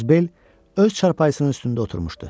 Qozbel öz çarpayısının üstündə oturmuşdu.